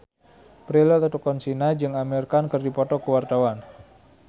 Prilly Latuconsina jeung Amir Khan keur dipoto ku wartawan